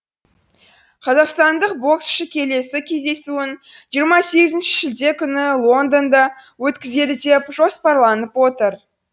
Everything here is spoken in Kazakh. қазақстандық боксшы келесі кездесуін жиырма сегізінші шілде күні лондонда өткізеді деп жоспарланып отыр